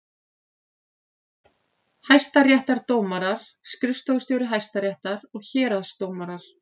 Hæstaréttardómarar, skrifstofustjóri Hæstaréttar og héraðsdómarar.